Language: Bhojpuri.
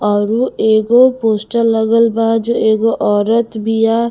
आउर एगो पोस्टर लगल बा जो एगो औरत बिया--